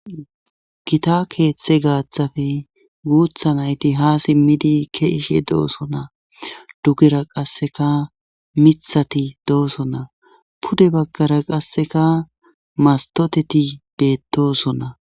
gita keeththe gaaththafe guutha nayti haa simmidi keishe dooso na dugera qasseka mithati doosonna pude baggara qasseka mastoteti beetoosonna